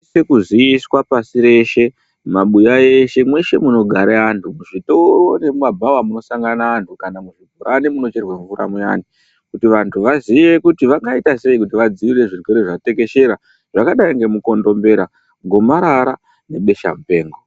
Kuziiswa pasi reshe ,mabuya eshe ,mweshe munogare antu ,muzvitoro nemumabhawa munosangana antu ,muzvipani munochererwe mvura muyane kuti vantu vaziye kuti vangaite sei nezvirwere zvatekeshera, zvakadai nemukondombera ,gomarara nebesha mupengo.